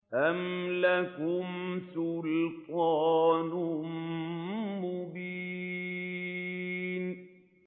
أَمْ لَكُمْ سُلْطَانٌ مُّبِينٌ